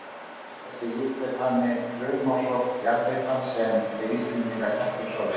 Þessi hiti er þannig frumorsök jarðhitans sem við Íslendingar þekkjum svo vel.